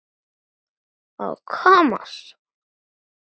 Var ég vön því?